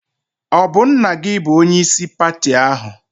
Ọ bụ nna gị bụ onyeisi pati ahụ?